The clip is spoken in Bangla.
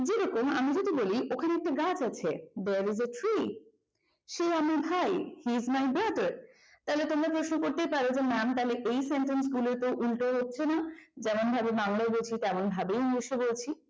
যেরকম আমি যদি বলি ওখানে একটা গাছ আছে there is a tree সে আমার ভাই he is my brother তাহলে তোমরা প্রশ্ন করতেই পারো যে ম্যাম তাহলে এই sentence গুলো উল্টো হচ্ছে না যেমন ভাবে বাংলায় বলছি তেমনভাবে english এ বলছি